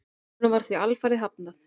Honum var því alfarið hafnað.